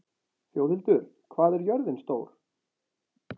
Þjóðhildur, hvað er jörðin stór?